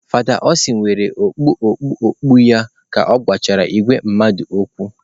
Fada Austin were okpu okpu okpu ya ka ọ gwachara ìgwè mmadụ okwu.